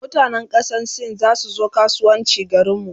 mutanan kasan sin zasu zo kasuwanci garinmu